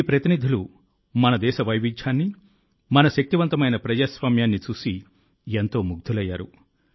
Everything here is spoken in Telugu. ఈ ప్రతినిధులు మన దేశ వైవిధ్యాన్ని మన శక్తిమంతమైన ప్రజాస్వామ్యాన్ని చూసి ఎంతో ముగ్ధులయ్యారు